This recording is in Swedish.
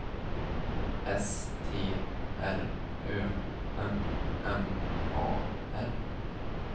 S T R Ö M M A R